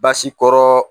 Basi kɔrɔ